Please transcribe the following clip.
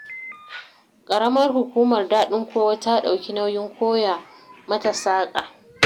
Ƙaramar Hukumar Daɗin Kowa ta ɗauki nauyin koya mata saƙa.